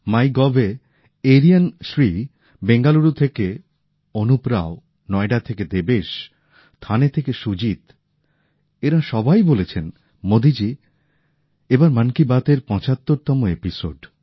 মাই গভে এরিয়ান শ্রী বেঙ্গালুরু থেকে অনুপ রাও নয়ডা থেকে দেবেশ ঠানে থেকে সুজিত এঁরা সবাই বলেছেন মোদিজী এবার মন কি বাত এর ৭৫ তম এপিসোড